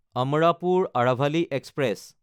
Amrapur Aravali express